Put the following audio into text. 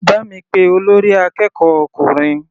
Bá mi pé olórí akẹ́kọ̀ọ́ ọkùnrin.